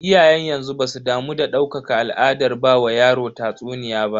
Iyayen yanzu basu damu da ɗaukaka al'adar ba wa yaro tatsuniya ba.